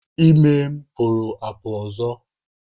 Ime m pụrụ apụ ọzọ.